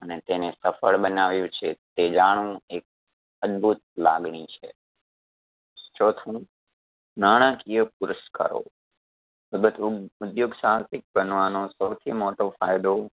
અને તેને સફળ બનાવ્યો છે તે જાણવું એક અદભૂત લાગણી છે. ચોથું નાણાકીય પુરસ્કારો ઉધ્યોગ સાહસિક બનવાનો સૌથી મોટો ફાયદો